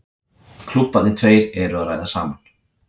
Klúbbarnir tveir eru að ræða saman.